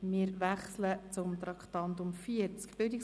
Wir wechseln zum Traktandum 40: